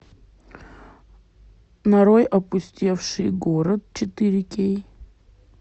нарой опустевший город четыре кей